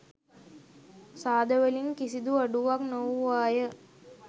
සාදවලින් කිසිදු අඩුවක් නොවූවාය.